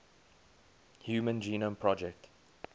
human genome project